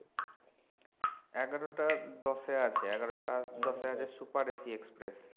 এগারোটা দশে আছে এগারোটা দশে আছে super AC express